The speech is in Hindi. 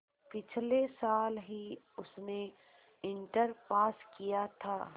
पिछले साल ही उसने इंटर पास किया था